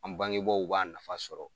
An bangebaaw b'a nafa sɔrɔ.